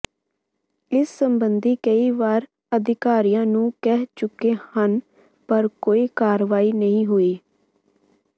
ਇਸ ਸਬੰਧੀ ਕਈ ਵਾਰ ਅਧਿਕਾਰੀਆਂ ਨੂੰ ਕਹਿ ਚੁੱਕੇ ਹਨ ਪਰ ਕੋਈ ਕਾਰਵਾਈ ਨਹੀਂ ਹੋਈ